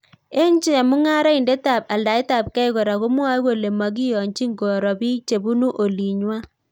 Eng chemungaraindet ap aldaet ap gei kora komwae kolee makiyonchiin koroo piik chebunuu olinywaa